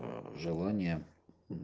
ээ желание